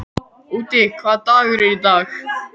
Úddi, hvaða dagur er í dag?